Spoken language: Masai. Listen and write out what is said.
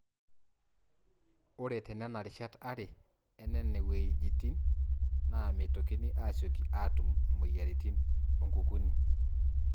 Ore tenena rishat are enene wuejitin naa meitokini aasiyioki aatum mmoyiaritin o nkukuni.